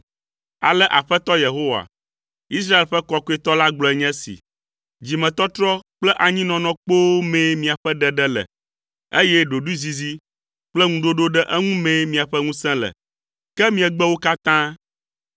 Ale Aƒetɔ Yehowa, Israel ƒe Kɔkɔetɔ la gblɔe nye esi, “Dzimetɔtrɔ kple anyinɔnɔ kpoo mee miaƒe ɖeɖe le, eye ɖoɖoezizi kple ŋuɖoɖo ɖe eŋu mee miaƒe ŋusẽ le. Ke miegbe wo katã.